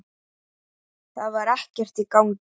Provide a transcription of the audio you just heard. Það var ekkert í gangi.